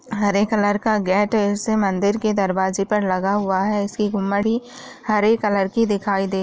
हरे colour का gate है इसे मंदिर के दरवाजे पर लगा हुआ है इसकी गुम्बडी हरे कलर की दिखाई दे--